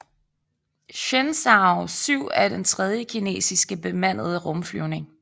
Shenzhou 7 er den tredje kinesiske bemandede rumflyvning